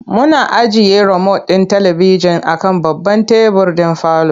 Muna ajiye romot ɗin talibijin a kan babban tebur ɗin parlour.